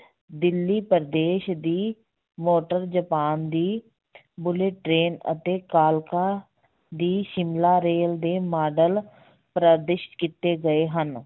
ਦਿੱਲੀ ਪ੍ਰਦੇਸ਼ ਦੀ, motor Japan ਦੀ train ਅਤੇ ਕਾਲਕਾ ਦੀ ਸ਼ਿਮਲਾ ਰੇਲ ਦੇ ਮਾਡਲ ਕੀਤੇ ਗਏ ਹਨ।